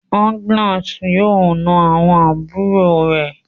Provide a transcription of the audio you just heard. Agnes yóò nà àwọn àbúrò re